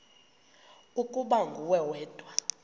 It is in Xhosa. ukuba nguwe wedwa